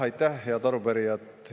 Aitäh, head arupärijad!